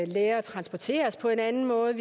lære at transportere os på en anden måde